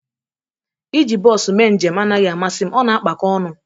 Ị ji bos mee njem anaghị amasị m, ọ na-akpako ọnụ